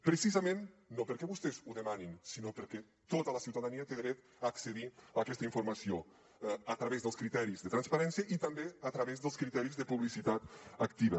precisament no perquè vostès ho demanin sinó perquè tota la ciutadania té dret a accedir a aquesta informació a través dels criteris de transparència i també a través dels criteris de publicitat activa